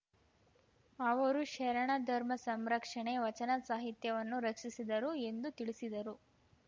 ಅವರು ಶರಣ ಧರ್ಮ ಸಂರಕ್ಷಣೆ ವಚನ ಸಾಹಿತ್ಯವನ್ನು ರಕ್ಷಿಸಿದರು ಎಂದು ತಿಳಿಸಿದರು